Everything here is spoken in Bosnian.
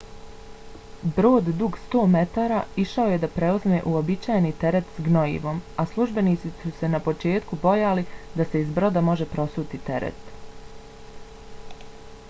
brod dug 100 metara išao je da preuzme uobičajeni teret s gnojivom a službenici su se na početku bojali da se iz broda može prosuti teret